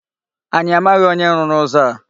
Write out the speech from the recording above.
Anyị amaghị onye rụrụ ụzọ a.